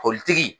Politigi